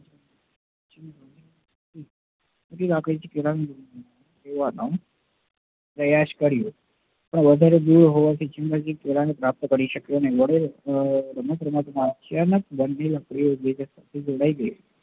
નાની લાકડી થી પેહલા પ્રયાસ કર્યો પણ વધારે દુર હોવાથી chimpanzee કેળા ને પ્રાપ્ત કરી સક્યો નહિ